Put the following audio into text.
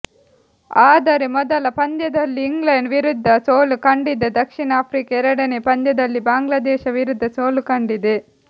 ಆದರೆ ಮೊದಲ ಪಂದ್ಯದಲ್ಲಿ ಇಂಗ್ಲೆಂಡ್ ವಿರುದ್ಧ ಸೋಲು ಕಂಡಿದ್ದ ದಕ್ಷಿಣ ಆಫ್ರಿಕಾ ಎರಡನೇ ಪಂದ್ಯದಲ್ಲಿ ಬಾಂಗ್ಲಾದೇಶ ವಿರುದ್ಧ ಸೋಲು ಕಂಡಿದೆ